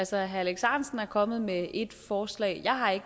herre alex ahrendtsen er kommet med et forslag jeg har ikke